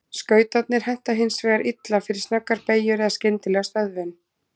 Skautarnir henta hins vegar illa fyrir snöggar beygjur eða skyndilega stöðvun.